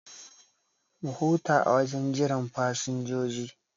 Mu huta a wajen jiran fasinjoji